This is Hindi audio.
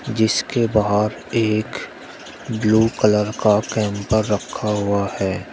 जिसके बाहर एक ब्लू कलर का कैंपर रखा हुआ है।